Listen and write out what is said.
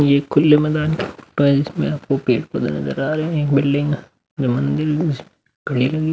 ये खुले मैदान पर जिसमें आपको पेड़-पौधे नजर आ रहे है एक बिल्डिंग --